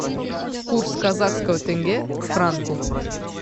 курс казахского тенге к франку